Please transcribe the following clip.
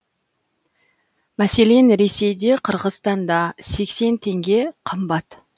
мәселен ресейде қырғызстанда сексен теңге қымбат